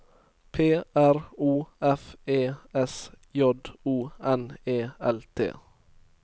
P R O F E S J O N E L T